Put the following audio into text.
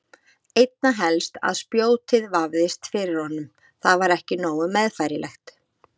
Einna helst að spjótið vefðist fyrir honum, það var ekki nógu meðfærilegt.